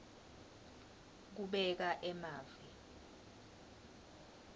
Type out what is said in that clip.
kubeka emavi